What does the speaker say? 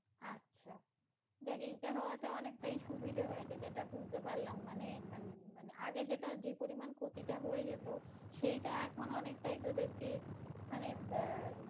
আচ্ছা যাক এইটা হওয়াতে অনেকটাই সুবিধা হয়েছে যেটা বুঝতে পারলাম মানে যেটা যেই পরিমানটা ক্ষতি হয়ে যেত সেইটা এখন অনেকটাই তোদেরকে মানে আহ